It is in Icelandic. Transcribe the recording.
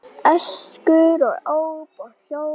Öskur og óp og óhljóð.